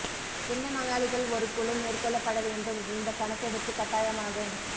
என்ன நோயாளிகள் ஒரு குழு மேற்கொள்ளப்பட வேண்டும் இந்த கணக்கெடுப்பு கட்டாயமாகும்